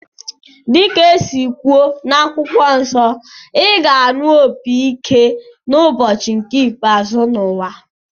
Dịka esi kwuo n'akwụkwọ nsọ, ị ga-anụ opi ike ụbọchị nke ikpeazụ n'ụwa